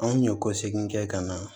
Anw ɲun kɔ segi kɛ ka na